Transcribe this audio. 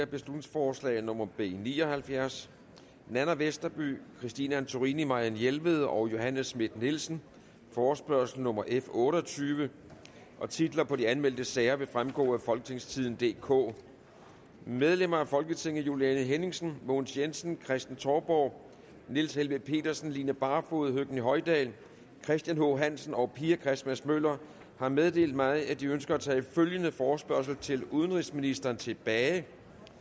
beslutningsforslag nummer b ni og halvfjerds nanna westerby christine antorini marianne jelved og johanne schmidt nielsen forespørgsel nummer f otte og tyve titler på de anmeldte sager vil fremgå af folketingstidende DK medlemmer af folketinget juliane henningsen mogens jensen kristen touborg niels helveg petersen line barfod høgni hoydal christian h hansen og pia christmas møller har meddelt mig at de ønsker at tage følgende forespørgsel til udenrigsministeren tilbage